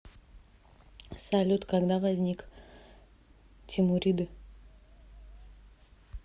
салют когда возник тимуриды